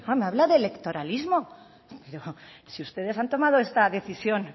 me habla de electoralismo pero si ustedes han tomado esta decisión